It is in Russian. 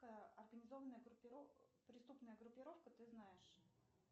организованная преступная группировка ты знаешь